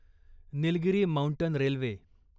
Nilgiri mountain railway